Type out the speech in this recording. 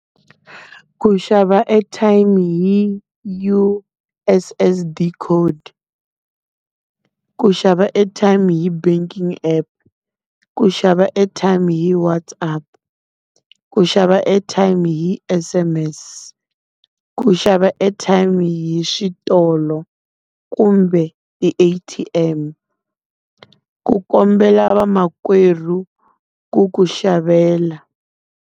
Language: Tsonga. Ku xava airtime hi U_S_S_D code, ku xava airtime hi banking app, ku xava airtime hi WhatsApp, ku xava airtime hi S_M_S, ku xava airtime hi switolo, kumbe ti-A_T_M, ku kombela vamakwerhu ku ku xavela.